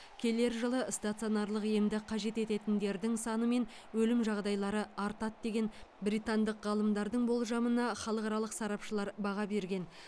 келер жылы стационарлық емді қажет ететіндердің саны мен өлім жағдайлары артады деген британдық ғалымдардың болжамына халықаралық сарапшылар баға берген